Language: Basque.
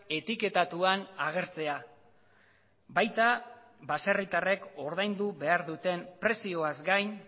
etiketatuan agertzea baita baserritarrek ordaindu behar duten prezioaz gain